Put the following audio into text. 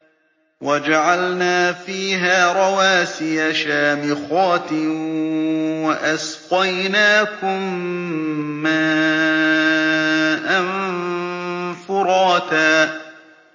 وَجَعَلْنَا فِيهَا رَوَاسِيَ شَامِخَاتٍ وَأَسْقَيْنَاكُم مَّاءً فُرَاتًا